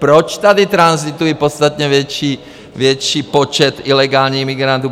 Proč tady tranzituje podstatně větší počet ilegálních migrantů?